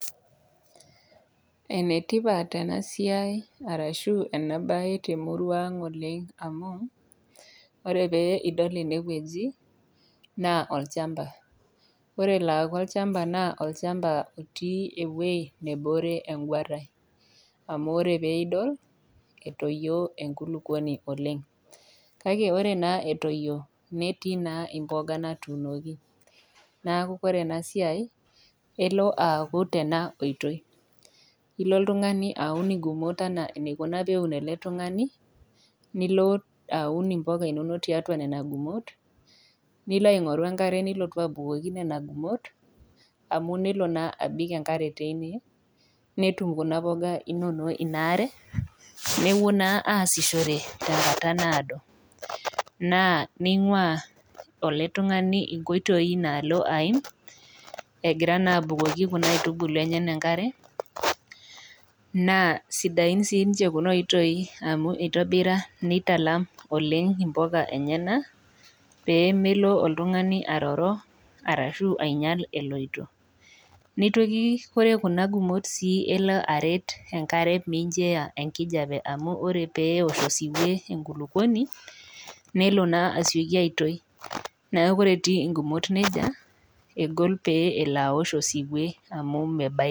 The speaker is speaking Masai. Ene tipat ena siai arashu ena baye te murua aang'oleng' amu ore pee iidol ene wueji naa olchamba. Ore elo aaku olchamba naa olchamba otii ewuei nebore eng'uara amu ore pee idol etoyio enkulukoni oleng', kake ore naa etoyio metii naa impoga natuunoki. Neeku kore ena siai elo aaku tena koitoi, ilo oltung'ani aun ing'umot enaa enaikuna peun ele tung'ani nio aun impoga inonok tiatua nena gumot, nilo aing'oru enkare nilotu aibukoki nena gumot amu nelo naa abik enkare teine netum kuna poga inonok ina are nepuo naa aasishore tenkata naado. Naa ning'ua ele tung'ani inkoitoi naalo aaim egira naa abukoki kuna aitubulu enyenak enkare naa sidain siinche kuna aitoi amu itobira nitalam oleng' impoka enyenak pee melo oltung'ani aroro, arashu ainyal eloito. Nitoki ore kuna gumot sii, elo aret enkare mincho eya enkipape nkijape amu ore pee ewosh osiwuo enkulukoni, nelo naa aisioki aitoi, neeku ore etii ing'umot neija egol pee elo awosh osiwuo amu mebaiki.